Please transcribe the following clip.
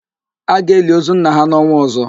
A ga-eli ozu nna ha n'ọnwa ọ̀zọ́.